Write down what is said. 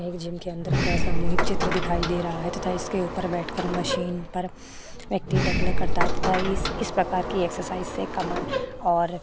एक जिम के अंदर का सामुहिक चित्र दिखाई दे रहा है तथा इसके ऊपर बैठकर मशीन पर करता है तथा इस प्रकार की एक्सरसाइज से कमर और --